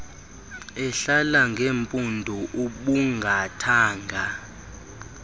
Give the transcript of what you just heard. ehlala ngeempundu ubungathanga